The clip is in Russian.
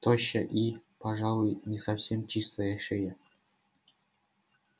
тощая и пожалуй не совсем чистая шея